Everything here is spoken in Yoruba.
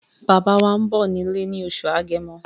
Bàbá wá ń bọ̀ nílé ní oṣù agẹmo